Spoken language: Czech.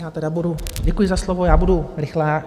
Já tedy budu - děkuji za slovo - já budu rychlá.